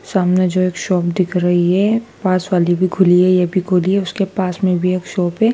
सामने जो एक शॉप दिख रही है पास वाली भी खुली है ये भी खुली है उसके पास मे भी एक शॉप है।